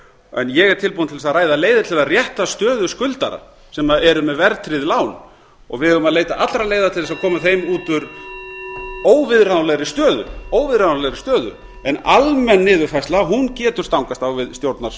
en ég er tilbúinn til þess að ræða leiðir til að rétta stöðu skuldara sem eru með verðtryggð lán og við eigum að leita allra leiða til þess að koma þeim út úr óviðráðanlegri stöðu en almenn niðurfærsla getur stangast á við